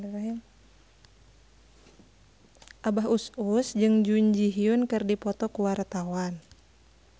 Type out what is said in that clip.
Abah Us Us jeung Jun Ji Hyun keur dipoto ku wartawan